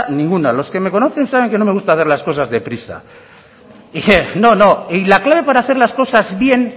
ninguna los que me conocen saben que no me gusta hacer las cosas deprisa y la clave para hacer las cosas bien